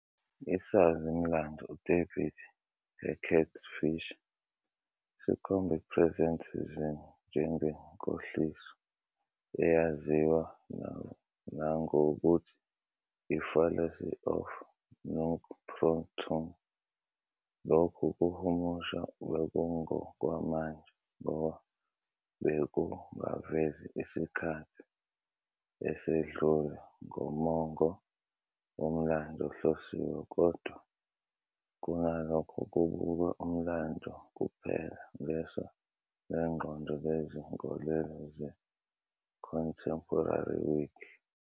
Isazi-mlando uDavid Hackett Fischer sikhomba i-presentism njengenkohliso eyaziwa nangokuthi "i-fallacy of "nunc pro tunc" ". Lokhu kuhumusha bekungokwamanje ngoba bekungavezi isikhathi esedlule ngomongo womlando ohlosiwe kodwa kunalokho kubukwe umlando kuphela ngeso lengqondo lezinkolelo ze-Contemporary Whig.